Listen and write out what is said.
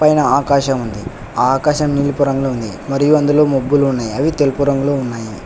పైన ఆకాశముంది ఆ ఆకాశం నీలపు రంగులో ఉంది మరియు అందులో మొబ్బులు ఉన్నాయి అవి తెలుపు రంగులో ఉన్నాయి.